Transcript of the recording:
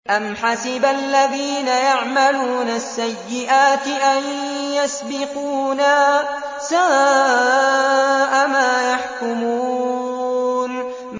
أَمْ حَسِبَ الَّذِينَ يَعْمَلُونَ السَّيِّئَاتِ أَن يَسْبِقُونَا ۚ سَاءَ مَا يَحْكُمُونَ